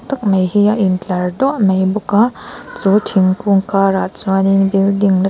tak mai hi a intlar duah mai bawk a chu thingkung karah chuanin building --